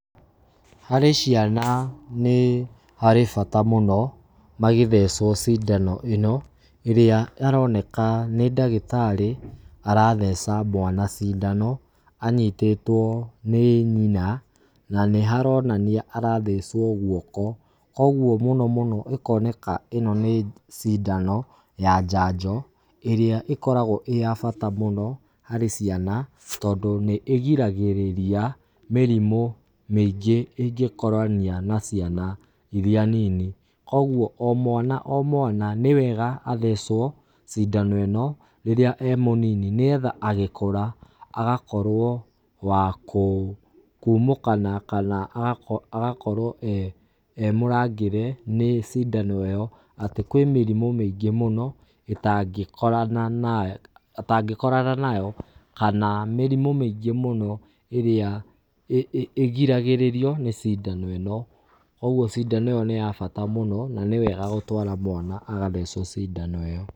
Harĩ ciana nĩ harĩ bata mũno magĩthecwo cindano ĩ no, ĩrĩa aroneka nĩ ndagĩtarĩ aratheca mwana cindano anyitĩtwo nĩ nyina na nĩ haronania arathecwo guoko. Koguo mũno mũno gũkoneka ĩ no nĩ cindano ya njanjo ĩrĩa ĩkoragwo ĩ ya bata mũno harĩ ciana tondũ nĩ ĩgiragĩrĩria mĩrimũ mĩingĩ ĩngĩkorania na ciana irĩa nini kogwo o mwana o mwana nĩ wega athecwo cindano ĩ no rĩrĩa e mũnini nĩgetha agĩkũra agakorwo wa kũ kumũkana kana agakorwo emũrangĩre nĩ cindano ĩyo atĩ kwĩ mĩrimũ mĩingĩ mũno itangĩkorana atangĩkorana nayo kana mĩrimu mĩingĩ mũno ĩrĩa igĩragĩrĩrio nĩ cindano ĩno. Kogwo cindano ĩyo nĩ ya bata mũno na nĩ wega gũtwara mwana agathecwo cindano ĩyo.